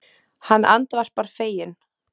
Hann andvarpar feginn.